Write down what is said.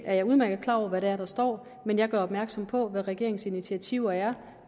er jeg udmærket klar over hvad det er der står men jeg gør opmærksom på hvad regeringens initiativer er